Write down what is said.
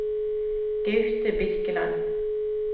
Gaute Birkeland